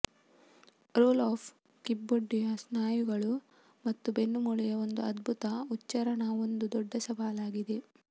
roll up ಕಿಬ್ಬೊಟ್ಟೆಯ ಸ್ನಾಯುಗಳು ಮತ್ತು ಬೆನ್ನುಮೂಳೆಯ ಒಂದು ಅದ್ಭುತ ಉಚ್ಚಾರಣಾ ಒಂದು ದೊಡ್ಡ ಸವಾಲಾಗಿದೆ